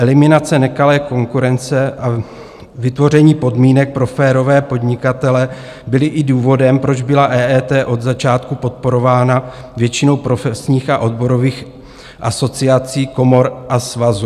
Eliminace nekalé konkurence a vytvoření podmínek pro férové podnikatele byly i důvodem, proč byla EET od začátku podporována většinou profesních a odborových asociací, komor a svazů.